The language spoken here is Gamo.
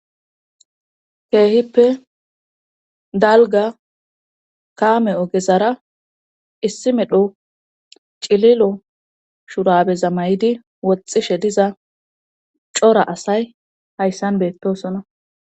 Keehippe dalga kaame ogezara issi medho cililo shurabeza may'di woxxishe diza cora asay hayssan beettosona.